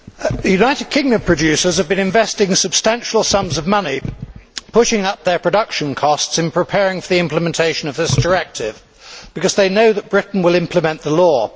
Mr President, United Kingdom producers have been investing substantial sums of money pushing up their production costs in preparing for the implementation of this directive because they know that Britain will implement the law.